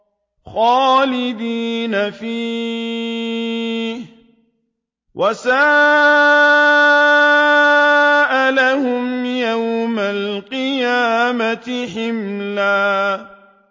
خَالِدِينَ فِيهِ ۖ وَسَاءَ لَهُمْ يَوْمَ الْقِيَامَةِ حِمْلًا